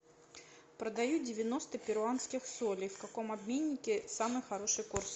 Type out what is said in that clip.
продаю девяносто перуанских солей в каком обменнике самый хороший курс